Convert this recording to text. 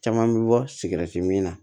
Caman bɛ bɔ sigɛriti min na